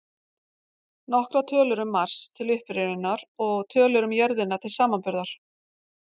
Nokkrar tölur um Mars, til upprifjunar, og tölur um jörðina til samanburðar: